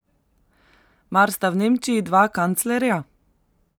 Mar sta v Nemčiji dva kanclerja?